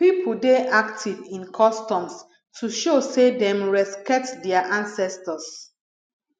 pipo dey active in customs to show say dem respekt dia ancestors